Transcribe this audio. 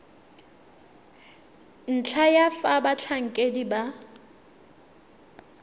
ntlha ya fa batlhankedi ba